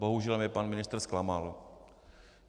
Bohužel mě pan ministr zklamal.